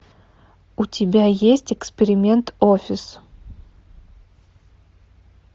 у тебя есть эксперимент офис